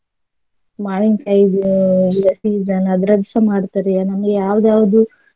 ಮಾವಿನಕಾಯಿ ಈಗ season ಅದ್ರದ್ದುಸ ಮಾಡ್ತಾರೆ ನಮಗೆ ಯಾವ್ದ್ ಯಾವ್ದು.